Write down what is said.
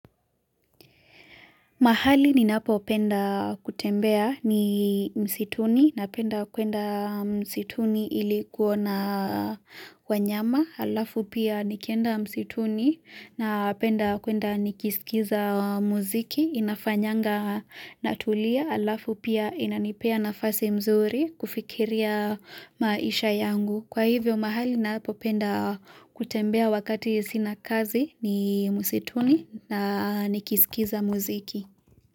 Mahali ni napopenda kutembea ni msituni napenda kwenda msituni ili kuona wanyama. Alafu pia nikienda msituni napenda kwenda nikisikiza muziki inafanyanga natulia. Alafu pia inanipea nafasi mzuri kufikiria maisha yangu. Kwa hivyo mahali napo penda kutembea wakati sinakazi ni msituni na nikisikiza muziki.